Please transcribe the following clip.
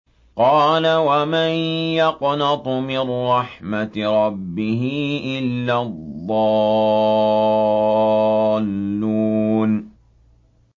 قَالَ وَمَن يَقْنَطُ مِن رَّحْمَةِ رَبِّهِ إِلَّا الضَّالُّونَ